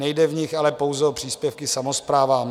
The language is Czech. Nejde v nich ale pouze o příspěvky samosprávám.